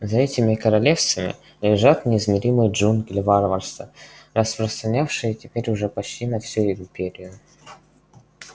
за этими королевствами лежат неизмеримые джунгли варварства распространявшие теперь уже почти на всю империю